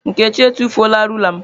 Nkechi etufuola rula m.